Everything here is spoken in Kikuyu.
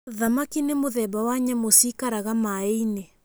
Thamaki nĩ mũthemba wa nyamũ ciikaraga maaĩ-inĩ.